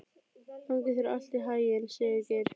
Gangi þér allt í haginn, Sigurgeir.